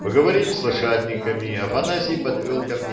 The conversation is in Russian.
поговорим с лошадниками афанасий подвёл ко мне